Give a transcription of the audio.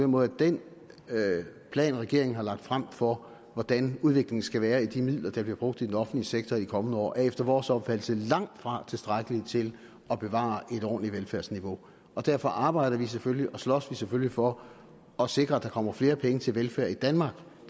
måde at den plan regeringen har lagt frem for hvordan udviklingen skal være i de midler der bliver brugt i den offentlige sektor i de kommende år efter vores opfattelse er langt fra tilstrækkelig til at bevare et ordentligt velfærdsniveau derfor arbejder vi selvfølgelig og slås vi selvfølgelig for at sikre at der kommer flere penge til velfærd i danmark